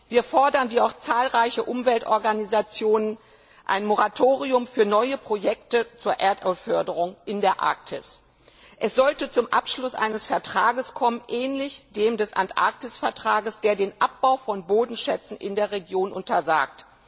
Wir fordern, wie auch zahlreiche Umweltorganisationen, ein Moratorium für neue Projekte zur Erdölförderung in der Arktis. Es sollte zum Abschluss eines Vertrags kommen ähnlich dem des Antarktis Vertrags der den Abbau von Bodenschätzen in der Region untersagt.